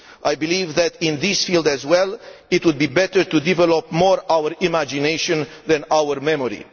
I believe that in this field, as well, it would be better to develop our imagination more than our memory.